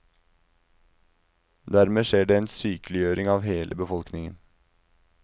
Dermed skjer det en sykeliggjøring av hele befolkningen.